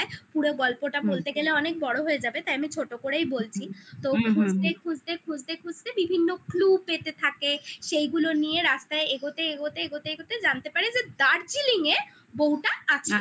পুরো গল্পটা বলতে গেলে অনেক বড় হয়ে যাবে তাই আমি ছোট করেই বলছি হুম হুম হুম তো খুঁজতে খুঁজতে খুঁজতে খুঁজতে বিভিন্ন clue পেতে থাকে সেইগুলো নিয়ে রাস্তায় এগোতে এগোতে এগোতে এগোতে জানতে পারে যে Darjeeling -এ বউটা আছে